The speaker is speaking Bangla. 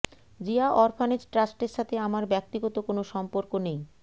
জিয়া অরফানেজ ট্রাস্টের সাথে আমার ব্যক্তিগত কোনো সম্পর্ক নেই